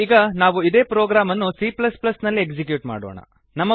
ಈಗ ನಾವು ಇದೇ ಪ್ರೊಗ್ರಾಮ್ ಅನ್ನು c ನಲ್ಲಿ ಎಕ್ಸಿಕ್ಯೂಟ್ ಮಾಡೋಣ